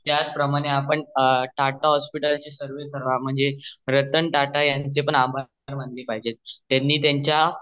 त्याच प्रमणे आपणा टाटा हॉस्पिटल यांचे म्हणजे रतन टाटा यांनी याचे पण आभार मानले पाहिजे कारण त्यांनी त्यांच्या